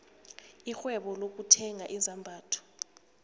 irhwebo lokuthenga izambatho